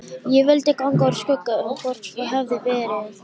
Ég vildi ganga úr skugga um hvort svo hefði verið.